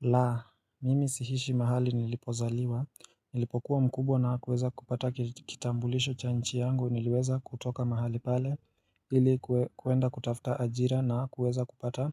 La, mimi siishi mahali nilipozaliwa, nilipokuwa mkubwa na kuweza kupata kitambulisho cha nchi yangu niliweza kutoka mahali pale ili kuenda kutafta ajira na kuweza kupata